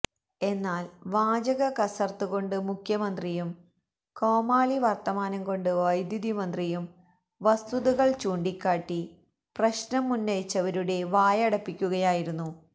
എന്നാല് വാചക കസര്ത്ത്കൊണ്ട് മുഖ്യമന്ത്രിയും കോമാളി വര്ത്തമാനം കൊണ്ട് വൈദ്യുതി മന്ത്രിയും വസ്തുതകള് ചൂണ്ടിക്കാട്ടി പ്രശ്നമുന്നയിച്ചവരുടെ വായടപ്പിക്കുകയായിരുന്നു